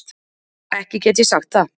Ekki get ég sagt það.